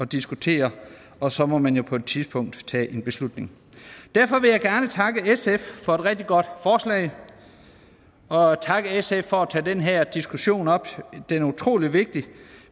diskutere og så må man jo på et tidspunkt tage en beslutning derfor vil jeg gerne takke sf for et rigtig godt forslag og takke sf for at tage den her diskussion op den er utrolig vigtig